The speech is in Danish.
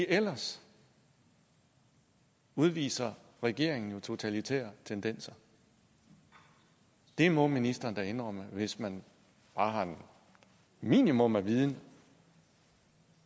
ellers udviser regeringen jo totalitære tendenser det må ministeren da indrømme hvis man bare har et minimum af viden